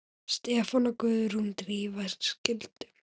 Stefán og Guðrún Drífa skildu.